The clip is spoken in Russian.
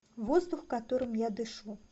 воздух которым я дышу